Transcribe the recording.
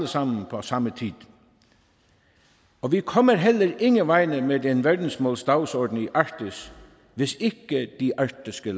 sammen på samme tid og vi kommer heller ingen vegne med denne verdensmålsdagsorden i arktis hvis ikke de arktiske